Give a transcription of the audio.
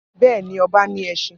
Bẹ́ẹ̀ ni, ọba ní ẹṣin.